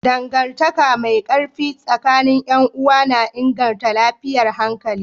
Dangantaka mai ƙarfi tsakanin 'yan uwa na inganta lafiyar hankali.